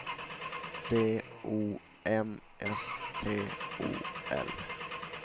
D O M S T O L